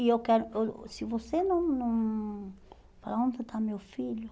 E eu quero... eu Se você não não... falar onde está meu filho